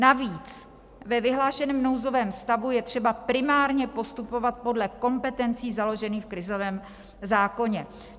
Navíc ve vyhlášeném nouzovém stavu je třeba primárně postupovat podle kompetencí založených v krizovém zákoně.